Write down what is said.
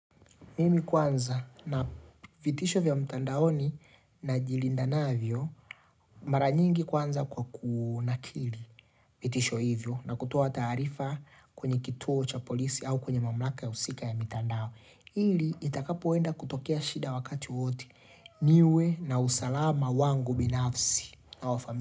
Mimi kwanza na vitisho vya mtandaoni na jilindanavyo mara nyingi kwanza kwa kunakili vitisho hivyo na kutoa taarifa kwenye kituo cha polisi au kwenye mamlaka ya usika ya mitandao. Ili itakapoenda kutokea shida wakati wote niwe na usalama wangu binafsi na wa familia.